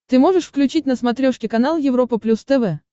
ты можешь включить на смотрешке канал европа плюс тв